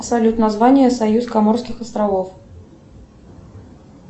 салют название союз коморских островов